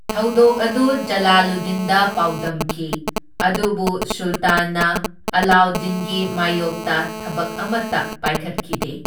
ꯊꯧꯗꯣꯛ ꯑꯗꯨ ꯖꯂꯥꯂꯨꯗꯗꯤꯟꯗ ꯄꯥꯎꯗꯝꯈꯤ, ꯑꯗꯨꯕꯨ ꯁꯨꯜꯇꯥꯟꯅ ꯑꯂꯥꯎꯗꯗꯤꯟꯒꯤ ꯃꯥꯏꯌꯣꯛꯇ ꯊꯕꯛ ꯑꯃꯇ ꯄꯥꯏꯈꯠꯈꯤꯗꯦ꯫